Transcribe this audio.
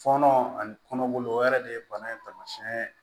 Fɔnɔ ani kɔnɔ o yɛrɛ de ye bana in taamasiyɛn ye